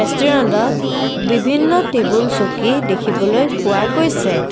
ৰেষ্টোৰেণ্টত বিভিন্ন টেবুল চকী দেখিবলৈ পোৱা গৈছে।